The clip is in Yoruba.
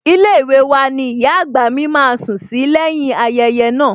Ilée wa ni ìyá àgbà mi máa sùn sí lẹ́yìn-ín ayẹyẹ naa